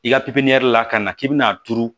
I ka la ka na k'i bɛna turu